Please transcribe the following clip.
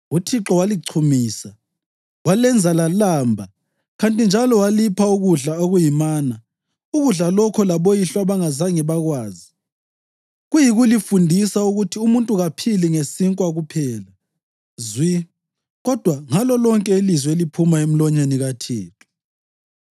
UThixo walichumisa, walenza lalamba kanti njalo walipha ukudla okuyimana, ukudla lokho laboyihlo abangazange bakwazi, kuyikulifundisa ukuthi umuntu kaphili ngesinkwa kuphela zwi kodwa ngalo lonke ilizwi eliphuma emlonyeni kaThixo.